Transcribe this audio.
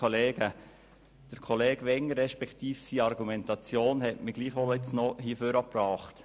Kollege Wengers Argumentation hat mich nun doch noch ans Rednerpult gebracht.